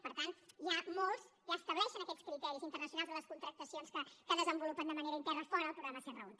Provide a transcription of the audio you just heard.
per tant ja molts ja estableixen aquests criteris internacionals en les contractacions que desenvolupen de manera interna fora el programa serra húnter